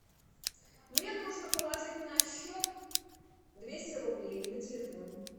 мне нужно положить на счет двести рублей на телефон